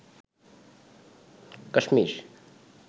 Kashmir